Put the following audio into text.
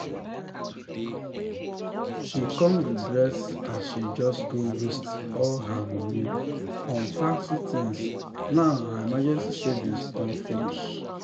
she come regret as she just go waste all her money on fancy things now her emergency savings don finish.